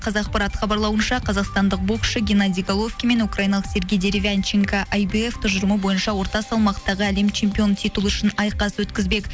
қазақпарат хабарлауынша қазақстандық боксшы геннадий головкин мен украиналық сергей деревянченко ай би ф тұжырымы бойынша орта салмақтағы әлем чемпионы титулы үшін айқас өткізбек